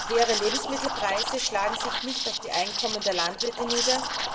Höhere Lebensmittelpreise schlagen sich nicht auf die Einkommen der Landwirte nieder.